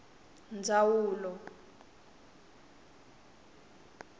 ndzawulo